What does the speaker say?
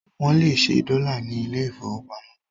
Wọ́n lè ṣẹ́ dọ́là ní ilé ìfowópamọ́